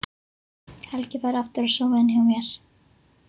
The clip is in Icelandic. Helgi fær aftur að sofa inni hjá mér.